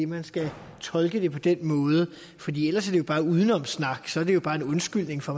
man skal tolke det på den måde fordi ellers er bare udenomssnak så er det jo bare en undskyldning for